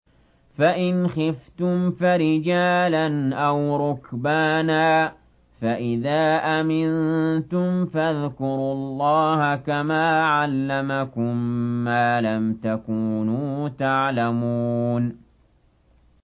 فَإِنْ خِفْتُمْ فَرِجَالًا أَوْ رُكْبَانًا ۖ فَإِذَا أَمِنتُمْ فَاذْكُرُوا اللَّهَ كَمَا عَلَّمَكُم مَّا لَمْ تَكُونُوا تَعْلَمُونَ